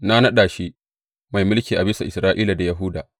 Na naɗa shi mai mulki a bisa Isra’ila da Yahuda.